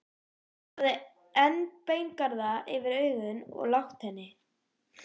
Hann hafði enn beingarða yfir augum og lágt enni.